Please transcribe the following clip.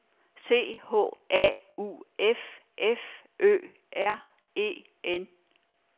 C H A U F F Ø R E N